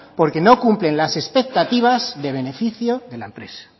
porque no cumplen las expectativas de beneficio de la empresa